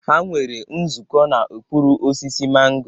Ha nwere nzukọ n'okpuru osisi mango.